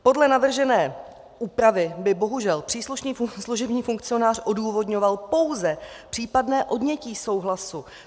Podle navržené úpravy by bohužel příslušný služební funkcionář odůvodňoval pouze případné odnětí souhlasu.